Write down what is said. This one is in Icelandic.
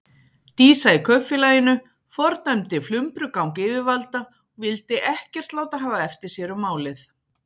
Dísa í Kaupfélaginu fordæmdi flumbrugang yfirvalda og vildi ekkert láta hafa eftir sér um málið.